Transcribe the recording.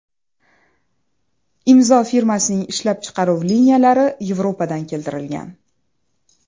Imzo fabrikasining ishlab chiqaruv liniyalari Yevropadan keltirilgan.